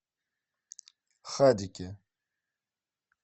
хадике